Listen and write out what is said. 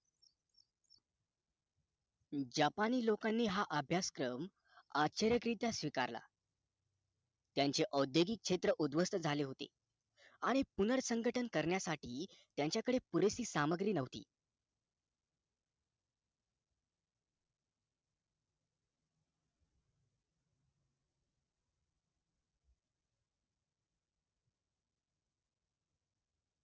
Japan नि लोकांनाही हा आभ्यासक्रम अशर्यक स्वीकारल त्यांचे औद्योगिक क्षेत्र उद्वस्त झाले होते आणि पूर्णसंकटां करण्यासाठी त्यांच्याकडे पुरेशी सामग्री नव्हती